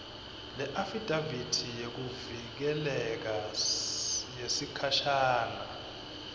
leafidavithi yekuvikeleka yesikhashana